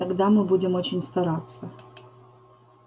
тогда мы будем очень стараться